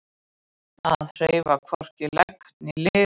Að hreyfa hvorki legg né lið